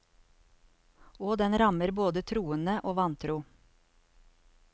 Og den rammer både troende og vantro.